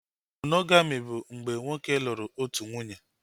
Monogami bụ mgbe nwoke lụrụ otu nwunye